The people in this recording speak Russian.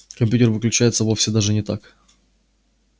компьютер выключается вовсе даже не так